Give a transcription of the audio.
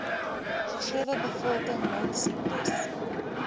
gegewe bevolking mondsiektes